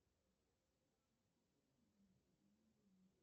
салют что такое новый уренгой